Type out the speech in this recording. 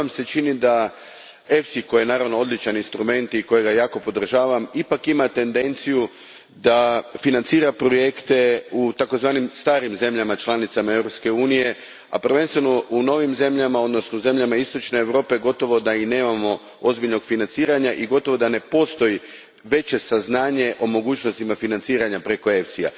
Da li Vam se čini da EFSI, koji je naravno odličan instrument i kojega jako podržavam, ipak ima tendenciju da financira projekte u tzv. starim zemljama članicama Europske unije, a prvenstveno u novim zemljama, odnosno u zemljama istočne Europe, gotovo da i nemamo ozbiljnog financiranja i gotovo da ne postoji veće saznanje o mogućnostima financiranja preko EFSI a?